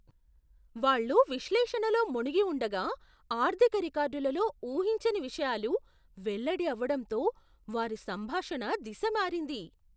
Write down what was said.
వాళ్ళు విశ్లేషణలో ముణిగి ఉండగా, ఆర్థిక రికార్డులలో ఊహించని విషయాలు వెల్లడి అవడంతో వారి సంభాషణ దిశ మారింది.